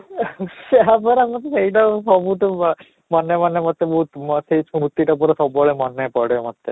ଆମର ଆମେ ସେଇଟା ସବୁଠୁ ବଢିଆ ମାନେ ମାନେ ମୋତେ ବହୁତ ସେଇ ସ୍ମୃତି ଟା ପୁରା ସବୁବେଳେ ମନେ ପଡେ ମୋତେ